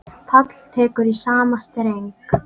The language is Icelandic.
Páll tekur í sama streng.